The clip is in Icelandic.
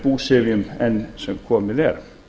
búsifjum enn sem komið er